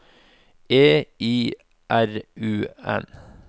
E I R U N